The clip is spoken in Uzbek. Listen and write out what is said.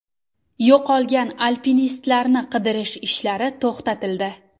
Yo‘qolgan alpinistlarni qidirish ishlari to‘xtatildi.